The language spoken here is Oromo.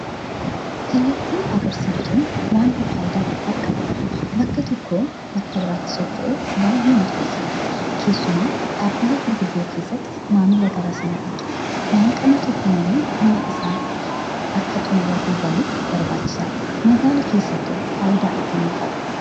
Kallattii argisiiftuun waanta faayidaa guddaa qabudha. Bakka tokkoo bakka biraatti socho'uuf baay'ee murteessaadha. Keessumaa dhaabbilee gurguddoo keessatti maamila gara sana dhaqeef danqama tokko malee dhimma isaa akka xummuratee galuuf barbaachisaadha. Magaalaa keessattoo faayidaa akkamii qaba?